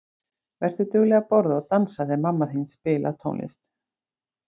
Vertu dugleg að borða og dansa þegar mamma þín spilar tónlist.